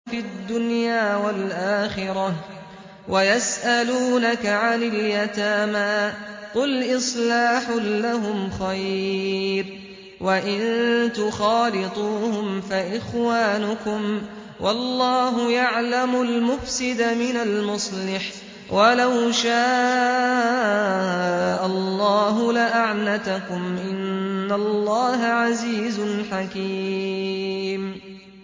فِي الدُّنْيَا وَالْآخِرَةِ ۗ وَيَسْأَلُونَكَ عَنِ الْيَتَامَىٰ ۖ قُلْ إِصْلَاحٌ لَّهُمْ خَيْرٌ ۖ وَإِن تُخَالِطُوهُمْ فَإِخْوَانُكُمْ ۚ وَاللَّهُ يَعْلَمُ الْمُفْسِدَ مِنَ الْمُصْلِحِ ۚ وَلَوْ شَاءَ اللَّهُ لَأَعْنَتَكُمْ ۚ إِنَّ اللَّهَ عَزِيزٌ حَكِيمٌ